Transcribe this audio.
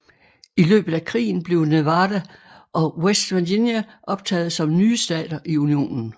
I løbet af krigen blev Nevada og West Virginia optaget som nye stater i Unionen